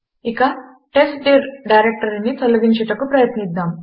ఇక టెస్ట్డిర్ డైరెక్టరీని తొలగించుటకు ప్రయత్నిద్దాము